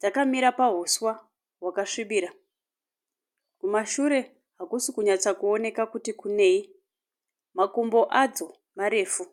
Dzakamira pahuswa hwakasvibira. Kumashure hakusi kunyatsa kuoneka kuti kunei. Makumbo adzo marefu.